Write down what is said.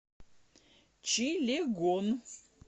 чилегон